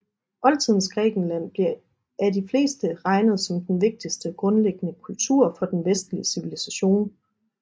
Oldtidens Grækenland bliver af de fleste regnet som den vigtigste grundlæggende kultur for den vestlige civilisation